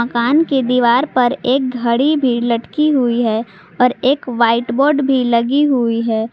मकान की दीवार पर एक घड़ी भी लटकी हुई है और एक व्हाइट बोर्ड भी लगी हुई है।